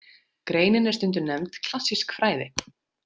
Greinin er stundum nefnd klassísk fræði.